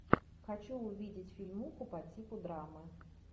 хочу увидеть фильмуху по типу драмы